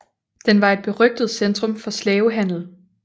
Den var et berygtet centrum for slavehandel